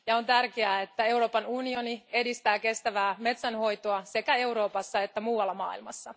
On tärkeää, että Euroopan unioni edistää kestävää metsänhoitoa sekä Euroopassa että muualla maailmassa.